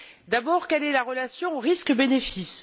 D'abord, quelle est la relation risques bénéfices?